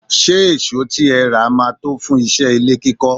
Ṣé èsó tí ẹ rà máa tó fún iṣẹ́ ilé kíkọ́?